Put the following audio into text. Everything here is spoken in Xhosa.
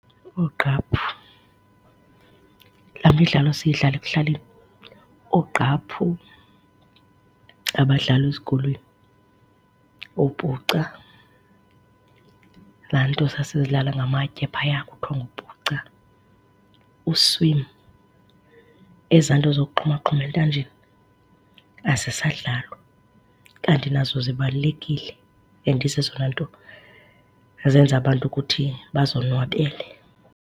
Oogqaphu, laa midlalo siyidlala ekuhlaleni. Oogqaphu, abadlalwa ezikolweni, oopuca, laa nto sasiyidlala ngamatye phaya kuthiwa ngupuca. ezaa nto zokuxhumaxhuma entanjeni azisadlalwa kanti nazo zibalulekile and zezona nto ezenza abantu ukuthi bazonwabele.